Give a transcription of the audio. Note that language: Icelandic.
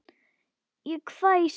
Ég hvæsi.